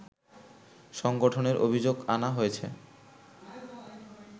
সংগঠনের অভিযোগ আনা হয়েছে